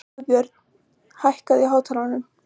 Guðbjörn, hækkaðu í hátalaranum.